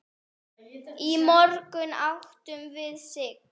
Í morgun áttum við Sig.